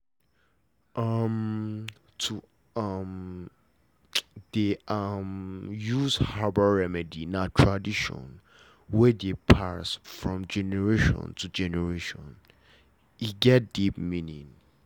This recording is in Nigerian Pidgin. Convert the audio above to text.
um to um dey um use herbal remedy na tradition wey dey pass from generation to generation get deep meaning